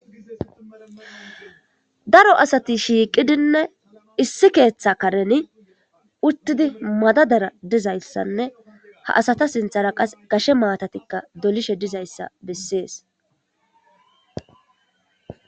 Daro asati issi bolla shiqidi issi keththa karen madadara dizayissanne ha asata sinththara gashshe naatati dizayissa besses